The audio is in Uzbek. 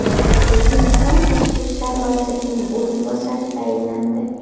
O‘zbekiston tashqi ishlar vazirining o‘rinbosari tayinlandi.